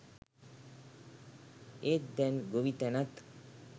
ඒත් දැන් ගොවිතැනත්